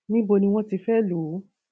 níbo ni wọn ti fẹẹ lò ó